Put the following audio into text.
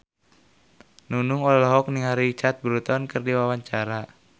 Nunung olohok ningali Richard Burton keur diwawancara